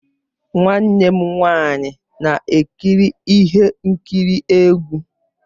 Nwanne m nwanyị na-ekiri ihe nkiri egwu.